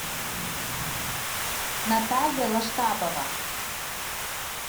наталья лаштабова